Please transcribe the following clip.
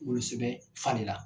wolosɛbɛn falen la.